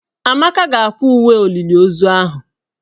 Amaka ga-akwa uwe olili ozu ahụ.